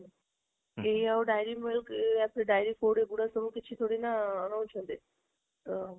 କେହି ଆଉ dairy ମିଳୁ dairy food ଏଇ ଗୁଡ କିଛି ଥୋଡି ନା ନେଉଛନ୍ତି ଅ